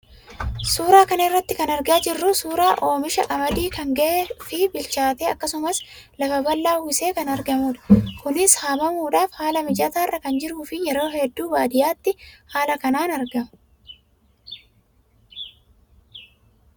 Suuraa kana irraa kan argaa jirru suuraa oomisha qamadii kan gahee fi bilchaate akkasumas lafa bal'aa uwwisee kan argamudha. Kunis haamamuudhaaf haala mijataarra kan jiruu fi yeroo hedduu baadiyyaatti haala kanaan argama.